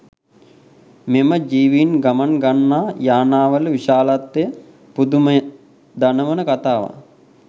මෙම ජීවීන් ගමන් ගන්නා යානාවල විශාලත්වය පුදුමය දනවන කතාවක්.